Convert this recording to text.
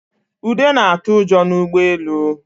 Ude na-atụ ụjọ n'ụgbọelu